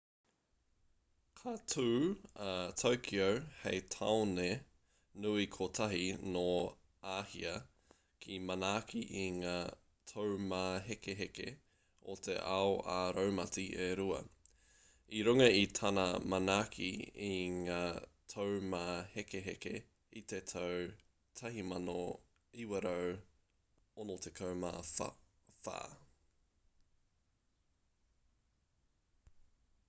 ka tū a tokyo hei tāone nui kotahi nō āhia kia manaaki i ngā taumāhekeheke o te ao ā-raumati e rua i runga i tana manaaki i ngā taumāhekeheke i te tau 1964